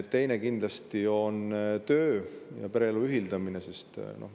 Teine on kindlasti töö ja pereelu ühildamine.